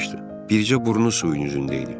Bircə burnu suyun üzündə idi.